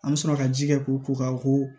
An bɛ sɔrɔ ka ji kɛ k'u ko ka ko